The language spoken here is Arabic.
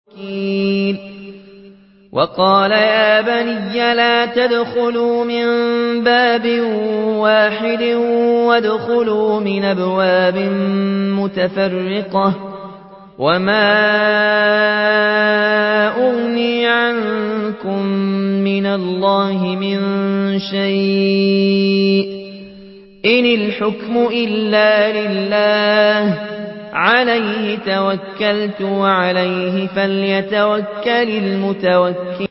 وَقَالَ يَا بَنِيَّ لَا تَدْخُلُوا مِن بَابٍ وَاحِدٍ وَادْخُلُوا مِنْ أَبْوَابٍ مُّتَفَرِّقَةٍ ۖ وَمَا أُغْنِي عَنكُم مِّنَ اللَّهِ مِن شَيْءٍ ۖ إِنِ الْحُكْمُ إِلَّا لِلَّهِ ۖ عَلَيْهِ تَوَكَّلْتُ ۖ وَعَلَيْهِ فَلْيَتَوَكَّلِ الْمُتَوَكِّلُونَ